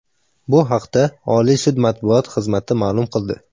Bu haqda Oliy sud matbuot xizmati ma’lum qildi .